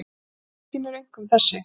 Tilvikin eru einkum þessi